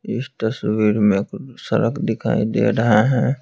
इस तस्वीर में सड़क दिखाई दे रहा है।